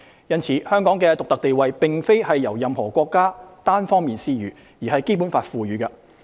因此，香港的獨特地位並非由任何國家單方面施予，而是《基本法》賦予的。